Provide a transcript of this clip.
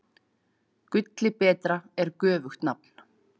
Gulli betra er göfugt nafn.